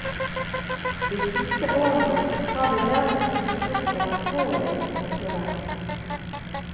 De siste årene har det derimot dukket opp en alvorlig konkurrent.